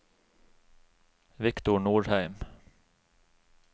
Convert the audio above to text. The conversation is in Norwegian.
Viktor Nordheim